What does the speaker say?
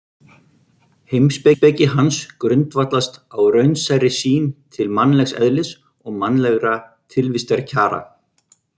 Heimspeki hans grundvallast á raunsærri sýn til mannlegs eðlis og mannlegra tilvistarkjara.